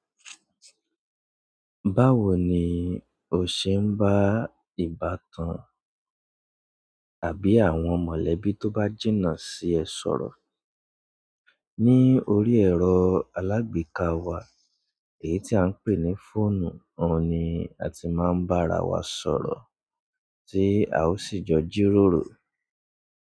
Báwo ni o ṣe ń bá ìbátan àbí àwọn mọ̀lẹ́bí tó bá jìnnà sí ẹ sọ̀rọ̀? Ni orí ẹ̀rọ alágbèéká wa èyí tí a ń pè ní fóònù, òun ni a ti máa ń bá ara wa sọ̀rọ̀ tí a ó sì jọ jíròrò.